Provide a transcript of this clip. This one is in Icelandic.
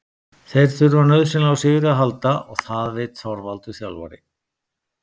Þeir þurfa nauðsynlega á sigri að halda og það veit Þorvaldur þjálfari.